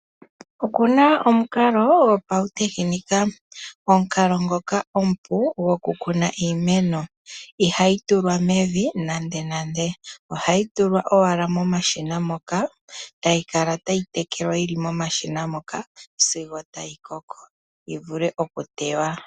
Okuna omukalo gwopautekenika. Omukalo ngoka omupu gwo ku kuna iimeno, iha yi tulwa mevi nande nande. Oha yi tulwa monashina moka, ta yi kala ta yi tekelwa yi li momashina moka sigo ta yi koko yi vule oku tewa.